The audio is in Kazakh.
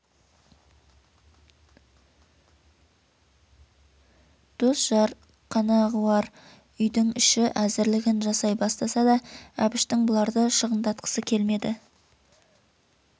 дос-жар қонағуар үйдің іші әзірлігін жасай бастаса да әбіштің бұларды шығындатқысы келмеді